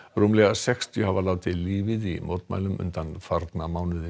rúmlega sextíu hafa látið lífið í mótmælum undanfarna mánuði